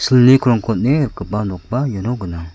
krongko on·e rikgipa nokba iano gnang.